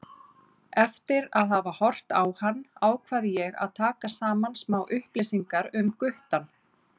Eftir að hafa horft á hann ákvað ég að taka saman smá upplýsingar um guttann.